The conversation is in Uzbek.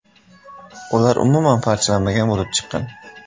Ular umuman parchalanmagan bo‘lib chiqqan.